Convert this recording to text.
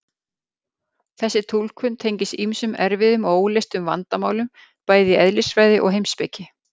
þessi túlkun tengist ýmsum erfiðum og óleystum vandamálum bæði í eðlisfræði og heimspeki